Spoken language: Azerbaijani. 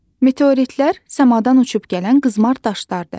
Meteoritlər səmadan uçub gələn qızmar daşlardır.